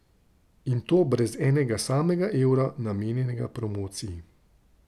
In to brez enega samega evra, namenjenega promociji.